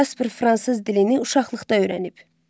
Casper fransız dilini uşaqlıqda öyrənb.